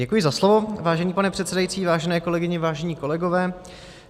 Děkuji za slovo, vážený pane předsedající, vážené kolegyně, vážení kolegové.